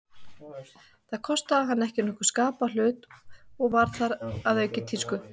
Það kostaði hana ekki nokkurn skapaðan hlut, og var þar að auki í tísku.